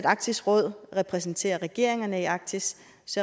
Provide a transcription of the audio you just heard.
arktisk råd repræsenterer regeringerne i arktis